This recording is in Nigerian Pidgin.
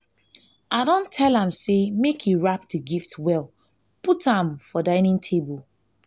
i don tell am say make he wrap the gift well put am for dinning table